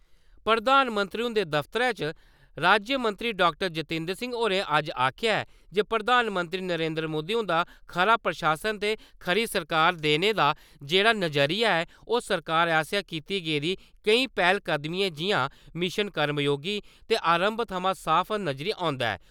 प्रधानमंत्री हुंदे दफ्तरै च राज्यमंत्री डाक्टर जीतेन्द्र सिंह होरें अज्ज आखेआ ऐ जे प्रधानमंत्री नरेन्द्र मोदी हुंदा खरा प्रशासन ते खरी सरकार देने दा जे्हड़ा नजरिया ऐ ओह् सरकार आसेआ कीती गेदी केई पैह्लकदमियें जि'यां मिशन कर्मयोगी ते आरंभ थमां साफ नजरी औंदा ऐ।